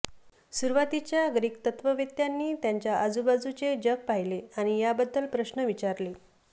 सुरुवातीच्या ग्रीक तत्त्ववेत्त्यांनी त्यांच्या आजूबाजूचे जग पाहिले आणि याबद्दल प्रश्न विचारले